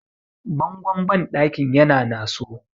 bangon bandakin yana naso